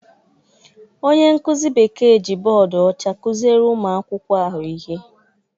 Onye nkụzi Bekee ji bọọdụ ọcha kụziere ụmụ akwụkwọ ahụ ihe.